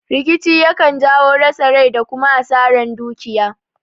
Rikici yakan jawo rasa rai da kuma asaran dukiya